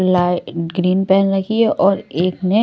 light green pen रखी है और एकने --